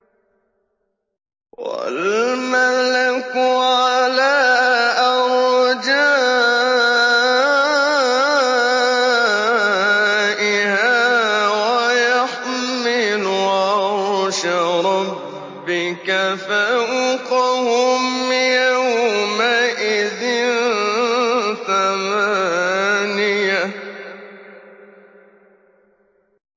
وَالْمَلَكُ عَلَىٰ أَرْجَائِهَا ۚ وَيَحْمِلُ عَرْشَ رَبِّكَ فَوْقَهُمْ يَوْمَئِذٍ ثَمَانِيَةٌ